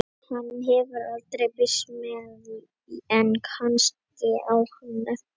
Hann hefur aldrei birst mér en kannski á hann eftir að gera það.